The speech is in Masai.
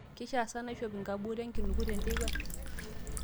keishia sa naishop nkabut enkinuku tenteipa